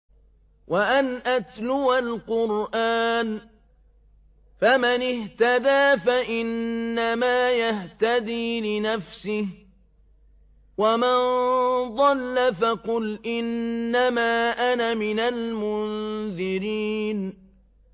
وَأَنْ أَتْلُوَ الْقُرْآنَ ۖ فَمَنِ اهْتَدَىٰ فَإِنَّمَا يَهْتَدِي لِنَفْسِهِ ۖ وَمَن ضَلَّ فَقُلْ إِنَّمَا أَنَا مِنَ الْمُنذِرِينَ